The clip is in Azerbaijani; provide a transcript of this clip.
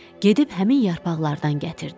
Gedib həmin yarpaqlardan gətirdi.